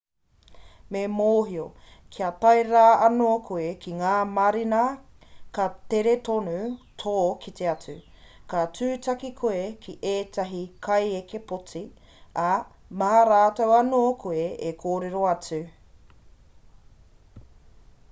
me mōhio kia tae rā anō koe ki ngā marina ka tere tonu tō kite atu ka tūtaki koe ki ētahi kaieke poti ā mā rātou anō koe e kōrero atu